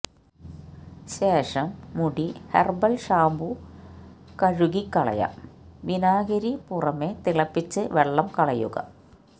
ശേഷം മുടി herbal shampoo കഴുകിക്കളയാം വിനാഗിരി പുറമെ തിളപ്പിച്ച് വെള്ളം കളയുക